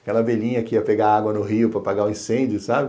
Aquela velhinha que ia pegar água no rio para apagar o incêndio, sabe?